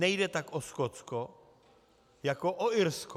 Nejde tak o Skotsko jako o Irsko.